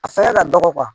A fɛngɛ ka dɔgɔ